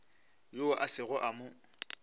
yoo a sego a mo